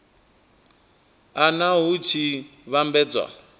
a nha hu tshi vhambedzwa